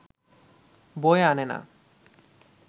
বয়ে আনে না